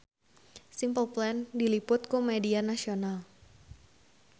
Simple Plan diliput ku media nasional